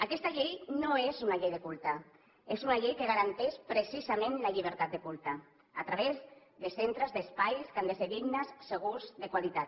aquesta llei no és una llei de culte és una llei que garanteix precisament la llibertat de culte a través de centres d’espais que han de ser dignes segurs de qualitat